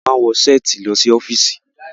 a wọ Ṣẹ́ẹ̀tì ló sí ọfiisi.